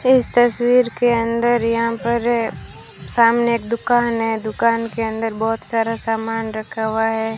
इस तस्वीर के अंदर यहां पर सामने एक दुकान है दुकान के अंदर बहोत सारा सामान रखा हुआ है।